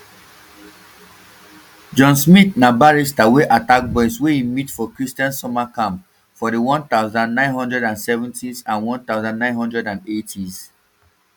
john smyth na british barrister wey attack boys wey e meet for christian summer camps for di one thousand, nine hundred and seventys and one thousand, nine hundred and eightys